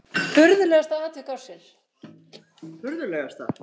Furðulegasta atvik ársins?